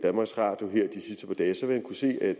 til at